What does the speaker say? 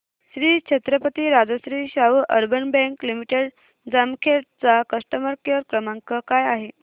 Shri Chhatrapati Rajarshi Shahu urban bank limited Jamkhed चा customer care क्रमांक काय आहे